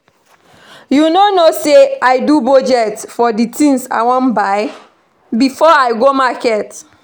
You no know say I do budget for the things I wan buy before I go market